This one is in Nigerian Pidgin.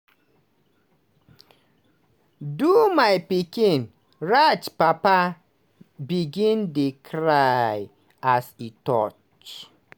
do my pikin" raj papa begin dey cry as e touch